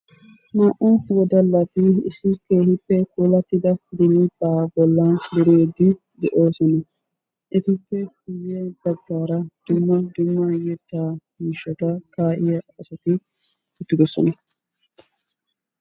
Naa''u wodallati issi keehippe puulatida dirphpha bolla durid de'oosona. Etuppe guuyye baggaara dumma dumma yettaa miishshata kaa'iya asati uttidosona.